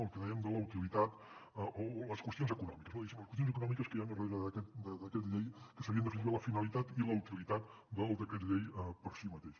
el que dèiem de la utilitat o les qüestions econòmiques que hi ha darrere d’aquest decret llei que seria en definitiva la finalitat i la utilitat del decret llei per si mateix